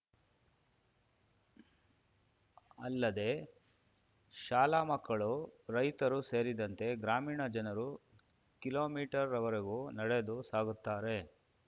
ಅಲ್ಲದೆ ಶಾಲಾ ಮಕ್ಕಳು ರೈತರು ಸೇರಿದಂತೆ ಗ್ರಾಮೀಣ ಜನರು ಕಿಲೋಮೀಟರ್ ವರೆಗೂ ನಡೆದು ಸಾಗುತ್ತಾರೆ